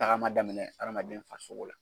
tagama daminɛ hadamaden farisogo la.